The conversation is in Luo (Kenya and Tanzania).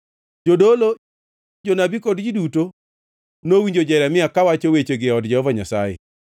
Jodolo, jonabi kod ji duto nowinjo Jeremia kawacho wechegi e od Jehova Nyasaye.